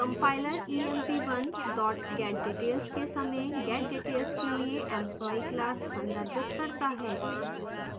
compiler emp1 getdetails के समय getdetails के लिए employee class संदर्भित करता है